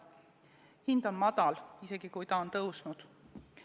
Hind on madal, isegi kui see on tõusnud.